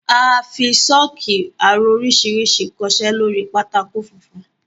A fi sọ́ọ́kì aró oríṣiríṣi kọ iṣẹ́ lóri pátákó funfun.